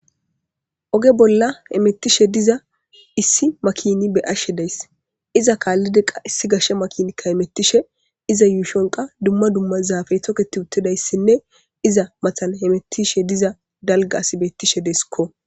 Oge bolla hemetishe diza issi makina be'ashe de'ays. Iza kaallidi qa issi gashe makini hemetishe iza yuushon qa dumma dumma zaafey toket uttidayssinne iza matan hemetishe diza dalgga asi beettishe deesikko.